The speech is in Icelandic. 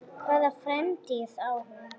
Hvaða framtíð á hún?